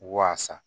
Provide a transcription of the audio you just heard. Waasa